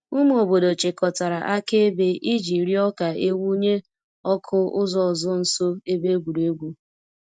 Ụmụ obodo chịkọtara akaebe iji rịọ ka e wụnye ọkụ ụzọ ọzọ nso ebe egwuregwu.